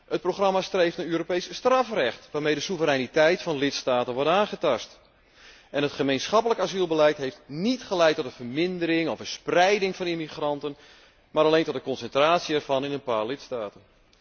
Het programma streeft naar Europees strafrecht, waarmee de soevereiniteit van lidstaten wordt aangetast. En het gemeenschappelijk asielbeleid heeft niet geleid tot een vermindering of een spreiding van immigranten, maar alleen tot een concentratie ervan in een paar lidstaten.